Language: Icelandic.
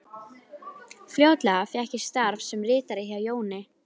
Fljótlega fékk ég starf sem ritari hjá Jóni